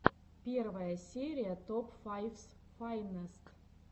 первая серия топ файфс файнест